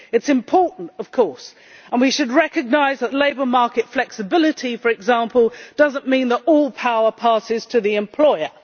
It is important, of course, and we should recognise that labour market flexibility, for example, does not mean that all power passes to the employer.